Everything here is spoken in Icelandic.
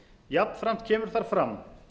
jafnframt kemur þar fram